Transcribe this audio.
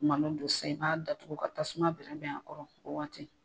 Malo don sisan i b'a datuku ka tasuma bɛrɛ bɛn a kɔrɔ fo waati.